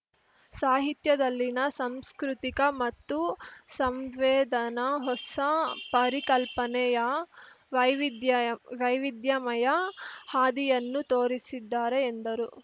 ಸಾಹಿತ್ಯದಲ್ಲಿನ ಸಂಸ್ಕೃತಿಕ ಮತ್ತು ಸಂವೇದನ ಹೊಸ ಪರಿಕಲ್ಪನೆಯ ವೈವಿಧ್ಯಯಮ್ ವೈವಿಧ್ಯಮಯ ಹಾದಿಯನ್ನು ತೋರಿಸಿದ್ದಾರೆ ಎಂದರು